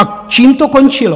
A čím to končilo?